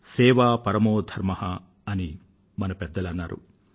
సేవా పరమో ధర్మ అని మన పెద్దలు అన్నారు